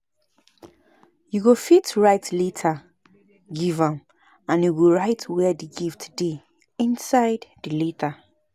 You go fit write letter give am and you go write where the gift dey inside the letter